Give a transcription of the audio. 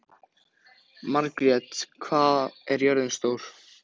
Margrjet, hvað er jörðin stór?